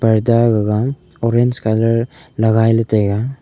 padda gaga orange colour lagai la taiga.